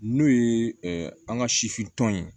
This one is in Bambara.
N'o ye an ka sifin tɔn ye